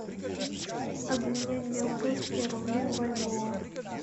обменять белорусские рубли в бальбоа